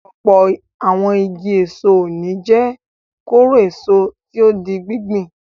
Ọ̀pọ̀ àwọn igi èso òní jẹ́ kóró-èso tí ó di gbíngbìn.